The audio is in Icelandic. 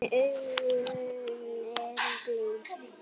En augun eru blíð.